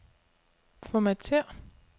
Formatér.